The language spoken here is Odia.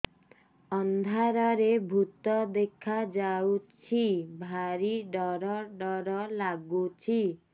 ଅନ୍ଧାରରେ ଭୂତ ଦେଖା ଯାଉଛି ଭାରି ଡର ଡର ଲଗୁଛି